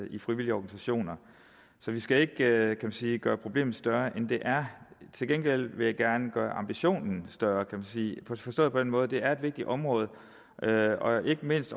i de frivillige organisationer så vi skal ikke kan man sige gøre problemet større end det er til gengæld vil jeg gerne gøre ambitionen større forstået på den måde at det er et vigtigt område og ikke mindst